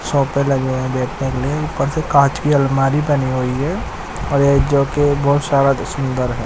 Shop पे लगे हैं बैग टंगे हैं ऊपर से कांच की अलमारी बनी हुई है और यह जो की बहोत सारा ही सुदंर है।